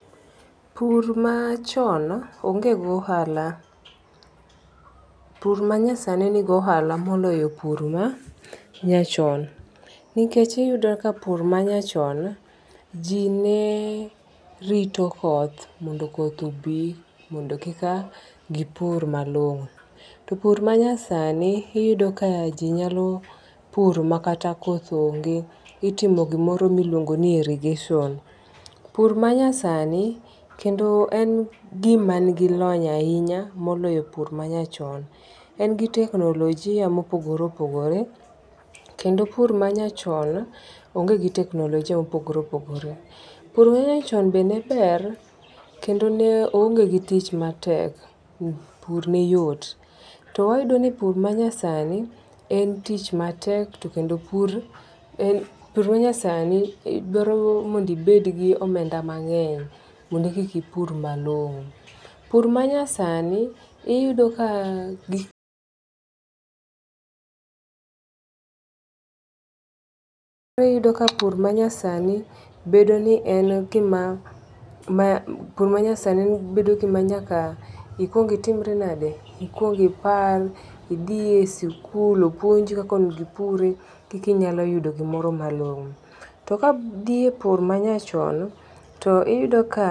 Pur machon onge gi ohala, pur ma nyasani nigi ohala moloyo pur nyachon nikech oyudo ka pur ma nyachon jinerito koth mondo koth obi mondo kika gipur malongo', to pur ma nyasani iyudo ka jinyalo pur makata koth onge, itimo gimoro miluongo ni irrigation [, pur ma nyasani kendo en gimanigi lony ahinya moloyo pur manyachon, engi teknolojia mopogore opogore kendo pur manyachon onge gi teknolojia mopogore opogore , pur ma nyachon be ne ber kendo ne ohonge gi tich matek pur neyot to wayudo ni pur manyasani en tich matek to kendo pur manyasani dwaroni inego ibed gi omenda mange'ny mondo ekika ipur malongo', pur manyasani iyudoni iyudo ka iyudo ka pur manyasani bedo ni en gima nyaka ikwongi itimri nade, ikwongi ipar, ikwongi thie sikul opuonji kaka onigo ipure kika inyalo yudo gimoro malongo'. To kathie pur manyachon to iyudo ka Pur machon onge gi ohala, pur manyasani nigi ohala moloyo pur ma nyachon. Nikech iyudo ka pur ma nyachon ji nerito koth mondo koth obi mondo kika gipur malongo', to pur ma nyasani iyudo ka jinyalo pur makata koth onge, itimo gimoro miluongo ni irrigation. Pur ma nyasani kendo en gimanigi lony ahinya moloyo pur manyachon, engi teknolojia mopogore opogore kendo pur manyachon onge gi teknolojia mopogore opogore. Pur ma nyachon be ne ber kendo ne oonge gi tich matek pur neyot to wayudo ni pur manyasani en tich matek to kendo pur manyasani dwaroni inego ibed gi omenda mange'ny mondo ekika ipur malongo', Pur manyasani iyudoni iyudo ka iyudo ka pur manyasani bedo ni en gima nyaka ikwongi itimri nade, ikwongi ipar, ikwongi idhie sikul opuonji kaka onigo ipure koka inyalo yudo gimoro malongo'. To kadhie pur manyachon to iyudo ka